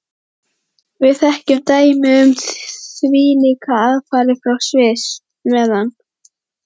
Við þekkjum dæmi um þvílíkar aðfarir frá Sviss, meðan